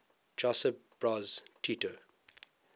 josip broz tito